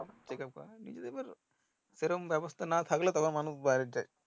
checkup করেন নিজেদের এবার সেরম ব্যাবস্তা না থাকলে মানুষ বাইরে যাই